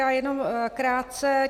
Já jenom krátce.